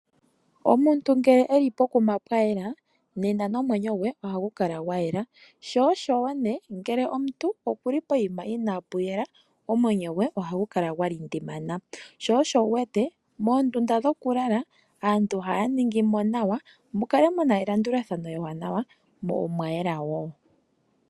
Omuntu ngele eli pokuma pwayela nena nomwenyo gwe ohagu kala gwayela, sho osho oshowo nee ngele omuntu okuli poima inaapu yela omwenyo gwe ohagu kala gwalindimana. Sho osho wuwete moondunda dhokulala aantu ohaya ningi mo nawa mukale muna elandulathano ewanawa mo omwayela wo.